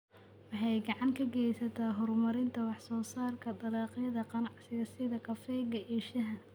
Waxay gacan ka geysataa horumarinta wax soo saarka dalagyada ganacsiga sida kafeega iyo shaaha.